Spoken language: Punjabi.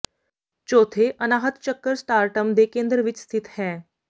ਚੌਥੇ ਅਨਾਹਤ ਚੱਕਰ ਸਟਾਰ੍ਟਮ ਦੇ ਕੇਂਦਰ ਵਿੱਚ ਸਥਿਤ ਹੈ